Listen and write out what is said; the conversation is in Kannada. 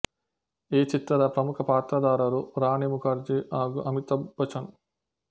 ಈ ಚಿತ್ರದ ಪ್ರಮುಖ ಪಾತ್ರದಾರರು ರಾಣಿ ಮುಖರ್ಜಿ ಹಾಗು ಅಮಿತಾಭ್ ಬಚ್ಚನ್